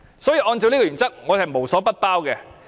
如果按照這個原則，是無所不包的。